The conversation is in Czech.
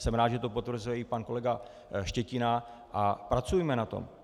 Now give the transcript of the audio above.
Jsem rád, že to potvrzuje i pan kolega Štětina, a pracujme na tom.